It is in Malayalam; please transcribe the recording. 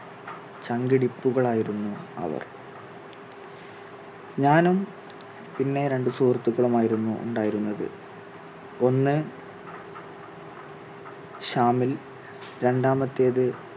ചങ്കിടിപ്പുകൾ ആയിരുന്നു അവർ ഞാനും പിന്നെ രണ്ട് സുഹൃത്തുക്കളുമായിരുന്നു ഉണ്ടായിരുന്നത് ഒന്ന് ഷാമിൽ, രണ്ടാമത്തേത്